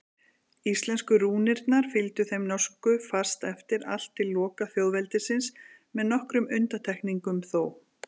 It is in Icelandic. Íslensku rúnirnar fylgdu þeim norsku fast eftir allt til loka þjóðveldisins með nokkrum undantekningum þó.